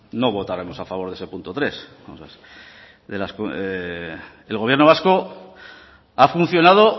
no votaremos a favor de ese punto tres el gobierno vasco ha funcionado